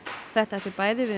þetta ætti bæði við